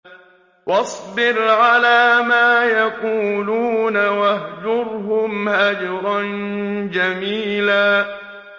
وَاصْبِرْ عَلَىٰ مَا يَقُولُونَ وَاهْجُرْهُمْ هَجْرًا جَمِيلًا